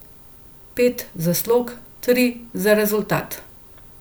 Pet za slog, tri za rezultat.